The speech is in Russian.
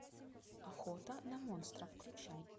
охота на монстра включай